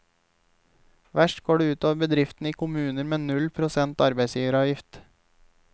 Verst går det utover bedriftene i kommuner med null prosent arbeidsgiveravgift.